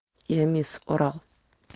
я мисс урал